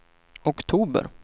oktober